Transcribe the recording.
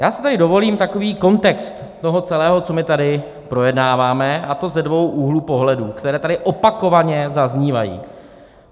Já si tady dovolím takový kontext toho celého, co my tady projednáváme, a to ze dvou úhlů pohledu, které tady opakovaně zaznívají.